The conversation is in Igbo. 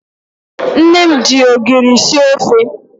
Nne m ji ogiri sie ofe.